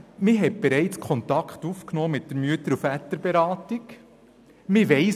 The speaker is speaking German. Er schreibt, man habe mit der Mütter- und Väterberatung bereits Kontakt aufgenommen.